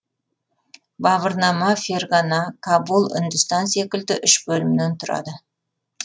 бағырнама ферғана кабул үндістан секілді үш бөлімнен тұрады